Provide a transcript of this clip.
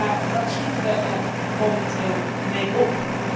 Maar wat schieten we er momenteel mee op?